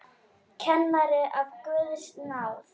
Kennari af Guðs náð.